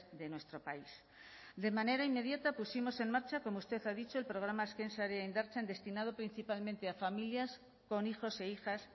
de nuestro país de manera inmediata pusimos en marcha como usted ha dicho el programa azken sarea indartzen destinado principalmente a familias con hijos e hijas